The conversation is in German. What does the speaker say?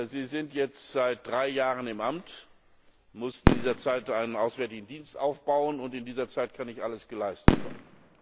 Sie sind jetzt seit drei Jahren im Amt, mussten in dieser Zeit einen Auswärtigen Dienst aufbauen, und in dieser Zeit kann nicht alles geleistet werden.